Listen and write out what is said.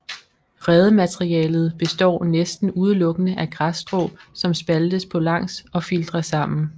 Redematerialet består næsten udelukkende af græsstrå som spaltes på langs og filtres sammen